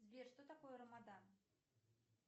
сбер что такое рамадан